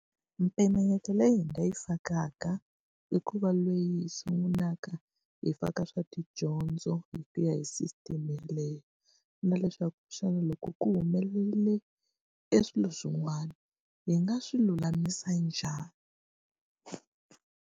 Mimpimanyeto leyi hi nga yi fakaka, i ku va leyi hi sungulaka hi faka swa tidyondzo hi kuya hi system leyo. Na leswaku xana loko ku humelerile e swilo swin'wana, hi nga swi lulamisa njhani.